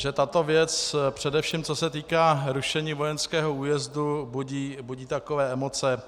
- že tato věc, především co se týká rušení vojenského újezdu, budí takové emoce.